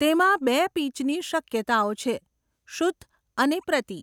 તેમાં બે પિચની શક્યતાઓ છે, શુદ્ધ અને પ્રતિ.